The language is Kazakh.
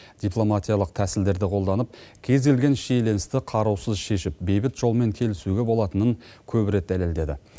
дипломатиялық тәсілдерді қолданып кез келген шиеленісті қарусыз шешіп бейбіт жолмен келісуге болатынын көп рет дәлелдеді